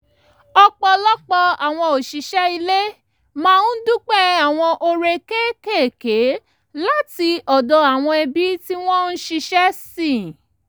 ọ̀pọ̀lọpọ̀ àwọn òṣìṣẹ́ ilé máa ń dúpẹ́ àwọn oore kékékèé láti ọ̀dọ̀ àwọn ẹbí tí wọ́n ń ṣiṣẹ́ sìn